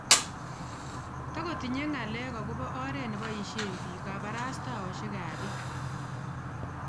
Tagotinye ngalek akobo oret nebaishe bik kabarastaoshek ap bik